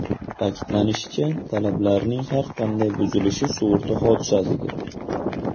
Ta’kidlanishicha, talablarning har qanday buzilishi sug‘urta hodisasidir.